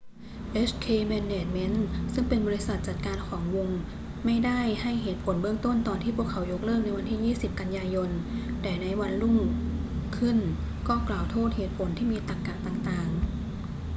hk management inc ซึ่งเป็นบริษัทจัดการของวงไม่ได้ให้เหตุผลเบื้องต้นตอนที่พวกเขายกเลิกในวันที่ 20 กันยายน แต่วันรุ่งขึ้นก็กล่าวโทษเหตุผลที่มีตรรกะต่าง ๆ